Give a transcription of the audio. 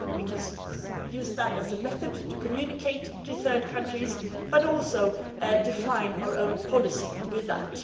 We can use that as a method for communicating with third countries, but also define our own policy with that.